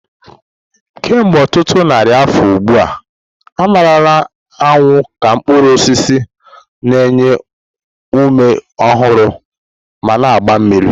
Kemgbe ọtụtụ narị afọ ugbu a, a marala anyụ ka mkpuru osisi na-enye ume ọhụrụ ma na-agba mmiri.